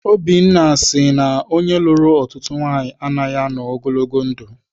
Obinna sị na onye lụrụ ọtụtụ nwaanyị anaghị anọ ogologo ndụ.